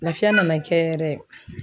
Lafiya nana kɛ yɛrɛ.